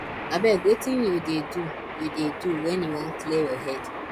abeg wetin you dey do you dey do wen you wan clear your head